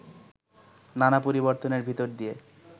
নানা পরিবর্তনের ভিতর দিয়ে